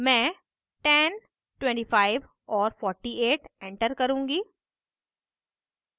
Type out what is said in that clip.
मैं 10 25 और 48 enter करुँगी